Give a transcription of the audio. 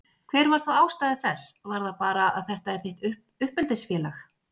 Hver var þá ástæða þess, var það bara að þetta er þitt uppeldisfélag?